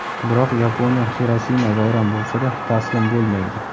Biroq Yaponiya Xirosima vayron bo‘lsa-da, taslim bo‘lmaydi.